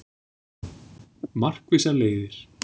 Markvissar leiðir